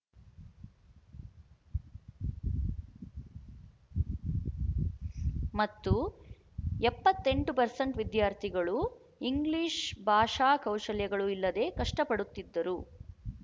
ಮತ್ತು ಎಪ್ಪತ್ತ್ ಎಂಟು ಪರ್ಸೆಂಟ್ ವಿದ್ಯಾರ್ಥಿಗಳು ಇಂಗ್ಲಿಶು ಭಾಷಾ ಕೌಶಲ್ಯಗಳು ಇಲ್ಲದೆ ಕಷ್ಟಪಡುತ್ತಿದ್ದರು